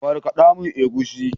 Markada mun egusi.